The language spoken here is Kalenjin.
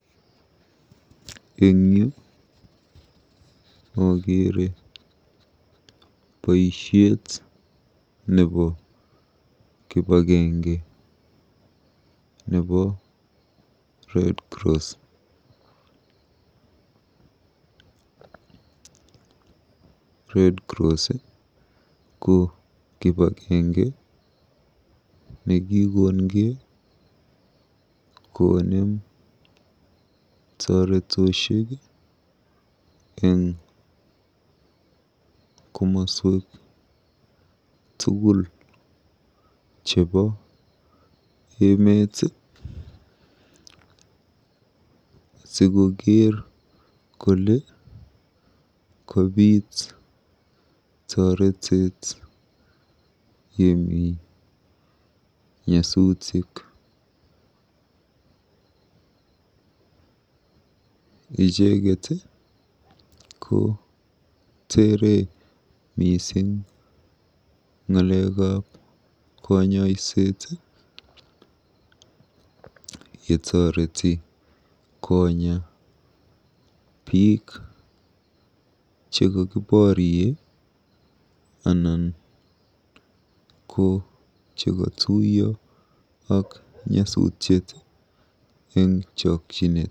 Eng yu akeere boisiet nebo kipaagenge nebo Redcross. Redcross ko kipagenge nikokokongei konem toretet eng komaswek tugul chebo emet sikokeer kole kobiit toretet yemi nyasutik. Icheket koteere mising ng'alekab kanyoiset yetoreti konya biik chekokiborie anan ko chekatuituiyo ak nyasutiet eng chokchinet.